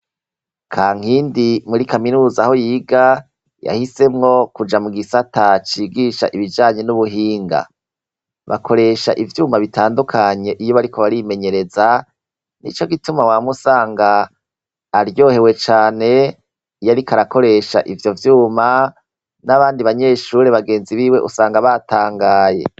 Kankindi, muri kaminuza aho yiga, yahisemwo kuja mu gisata cigisha ibijanye n'ubuhinga. Bakoresha ivyuma bitandukanye iyo bariko barimenyereza, ni ico gituma wama usanga aryohewe cane iyo ariko arakoresha ivyo vyuma n'abandi banyeshure bagenzi biwe usanga batangaye.